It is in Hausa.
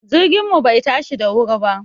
Jirgin mu bai tashi da wuri ba